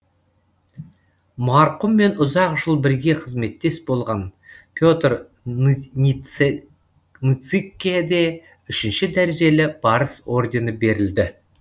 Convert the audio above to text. марқұммен ұзақ жыл бірге қызметтес болған петр ныцыкке де үшінші дәрежелі барыс ордені берілді